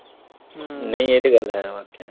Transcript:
ਹਮ ਨਹੀਂ ਇਹ ਤੇ ਗੱਲ ਹੈ ਵਾਇਕੇ।